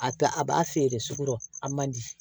A ta a b'a feere sugu la a man di